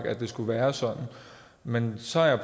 at det skulle være sådan men så har jeg